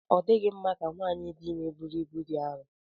Ọ dịghị mma ka nwanyị dị ime búrú ịbú dị arọ